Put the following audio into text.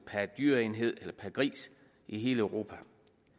per dyreenhed eller per gris i hele europa